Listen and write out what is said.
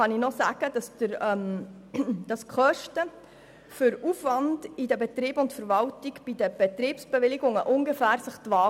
Die Kosten für den Aufwand halten sich bei den Betriebsbewilligungen ungefähr die Waage.